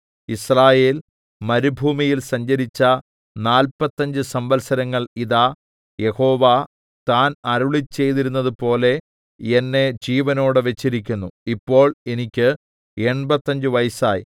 യിസ്രായേൽ മരുഭൂമിയിൽ സഞ്ചരിച്ച നാല്പത്തഞ്ച് സംവത്സരങ്ങൾ ഇതാ യഹോവ താൻ അരുളിച്ചെയ്തിരുന്നതുപോലെ എന്നെ ജീവനോടെ വെച്ചിരിക്കുന്നു ഇപ്പോൾ എനിക്ക് എണ്പത്തഞ്ച് വയസ്സായി